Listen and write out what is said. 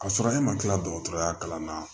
K'a sɔrɔ e ma kila dɔgɔtɔrɔya kalan na